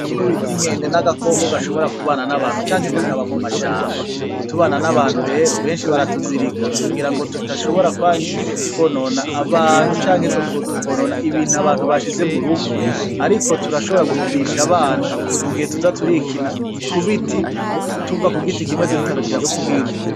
Agakoko bita inkende ni agakoko gashobora kubana nabantu canke kakaba mu mashamba, utubana n'abantu rero benshi bara tuzirika kugira ngo tudashobora kwonona abantu canke tukonona ibintu abantu bashize mu rugo, ariko turashobora gukinisha abana mugihe tuza turikina kubiti tuva kugiti kimwe dutarukira kukindi.